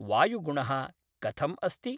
वायुगुणः कथम् अस्ति?